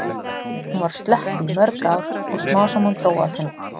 Hún var slöpp í mörg ár og smám saman dró af henni.